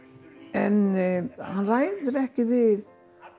en hann ræðir ekki við